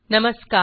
नमस्कार